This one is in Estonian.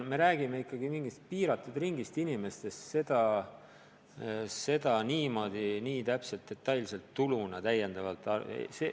Me räägime ikkagi mingist piiratud ringist inimestest ja seda niimoodi täiendava tuluna võtta ei saa.